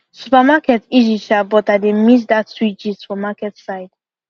supermarket easy sha but i dey miss that sweet gist for market side